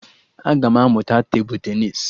Aga m amụta tebụl tenịs